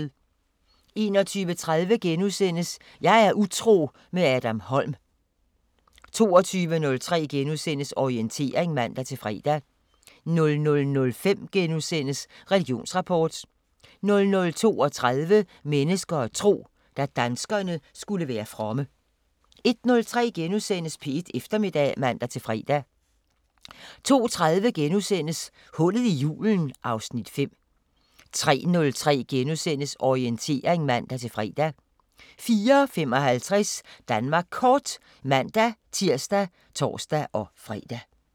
21:30: Jeg er utro – med Adam Holm * 22:03: Orientering *(man-fre) 00:05: Religionsrapport * 00:32: Mennesker og tro: Da danskerne skulle være fromme 01:03: P1 Eftermiddag *(man-fre) 02:30: Hullet i julen (Afs. 5)* 03:03: Orientering *(man-fre) 04:55: Danmark Kort (man-tir og tor-fre)